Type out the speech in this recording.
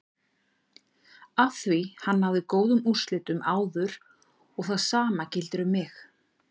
Afþví hann náði góðum úrslitum áður og það sama gildir um mig.